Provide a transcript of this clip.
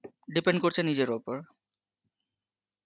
depend করছে নিজের ওপর